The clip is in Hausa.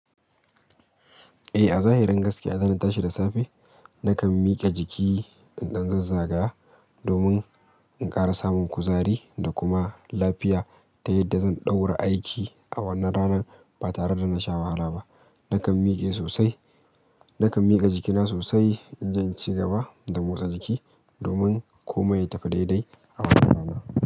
Eh, a zahirin gaskiya, zan tashi da safe. Na kan mike jiki, in dan zazzagaya, dumin in kara samun kuzari da kuma lafiya ta yadda zan daura aiki a wannan ranan ba tare da na sha wahala ba nakan miƙe sosai, nakan miƙa jikina sosai in je in ci gaba da motsa jiki domin komai ya tafi daidai a wannan rana.